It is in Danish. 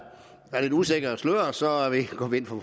lidt usikkert og sløret så går vi ind for